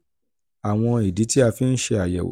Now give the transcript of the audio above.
àwọn ìdí tí a fi ń ṣe àyẹ̀wò um